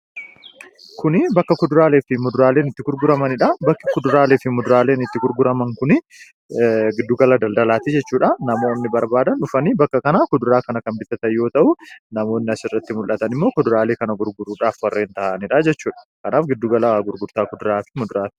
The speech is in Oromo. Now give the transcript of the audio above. Kun bakka kuduraalee fi muduraaleen itti gurguramanidha. Bakki kuduraalee fi muduraaleen itti gurguraman kun giddu gala daldalaati jechuudha. Namoonni barbaadan dhufanii bakka kanaa kuduraa kana kan bitatan yoo ta'u, namoonni asirratti mul'atan immoo kuduraalee kana gurguruudhaaf warreen taa'anidha jechuudha. Kanaaf giduu gala gurgurtaa kuduraaleedha jechuudha.